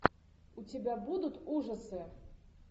у тебя будут ужасы